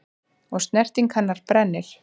Og snerting hennar brennir.